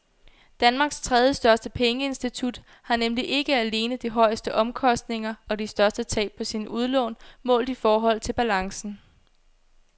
Danmarks tredjestørste pengeinstitut har nemlig ikke alene de højeste omkostninger og de største tab på sine udlån målt i forhold til balancen.